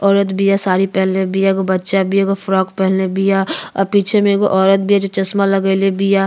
औरत बिया साड़ी पहिनले बिया। एगो बच्चा बिआ एगो फ्रॉक पहिनले बिया। आ पीछे में एगो औरत बिआ जो चश्मा लगईले बिया।